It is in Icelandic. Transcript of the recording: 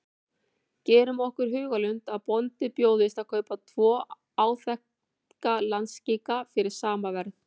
Gerum okkur í hugarlund að bónda bjóðist að kaupa tvo áþekka landskika fyrir sama verð.